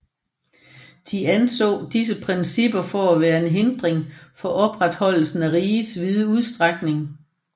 De anså disse principper for at være en hindring for opretholdelsen af rigets vide udstrækning